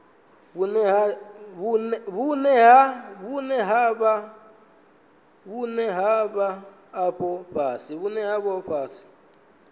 vhune ha vha afho fhasi